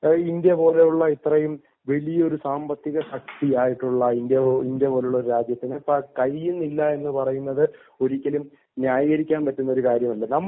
India പോലെയുള്ള ഇത്രയും വലിയ സാമ്പത്തിക ശക്തിയായിട്ടുള്ള ഇന്ത്യ പോലൊരു രാജ്യത്തിന് കഴിയുന്നില്ല എന്ന് പറയുന്നത് ഒരിക്കലും ന്യായീകരിക്കാൻ പറ്റുന്ന ഒരു കാര്യമല്ല